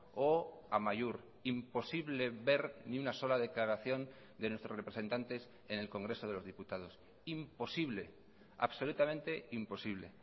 o amaiur imposible ver ni una sola declaración de nuestros representantes en el congreso de los diputados imposible absolutamente imposible